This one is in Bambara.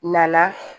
Na